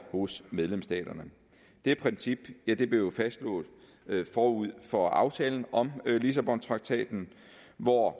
hos medlemsstaterne det princip blev jo fastslået forud for aftalen om lissabontraktaten hvor